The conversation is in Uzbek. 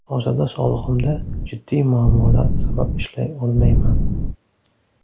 Hozirda sog‘ligimda jiddiy muammolar sabab ishlay olmayman.